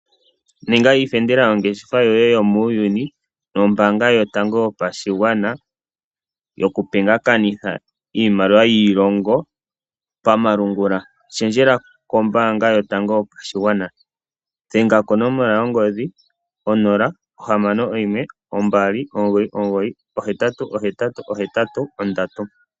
Ninga iifendela yongeshefa yoye yomuuyuni nombaanga yotango yopashigwana yoku pingakanithe iimaliwa yiilongo pamalungula, shendjela kombaanga yotango yopashigwana dhenga konomola yongodhi 0612998883.